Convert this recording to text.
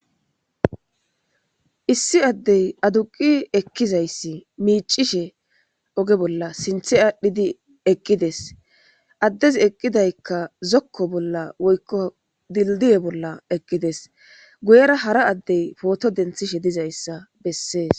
Issi adeyi aduqqi ekizayissi micishshe ogee bolla sinththe adhdhidi eqqidessi adezzi eqidayikka zokko bolla woyikko dilidiye bolla eqidees .guyera hara adeyi photo deniththishshe dizayissa besees.